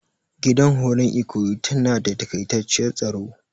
Gidan horon ikoyi tana da takaitaciyar staro.